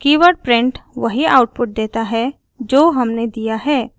keyword print वही output देता है जो हमने दिया है